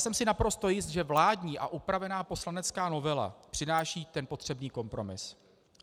Jsem si naprosto jist, že vládní a upravená poslanecká novela přináší ten potřebný kompromis.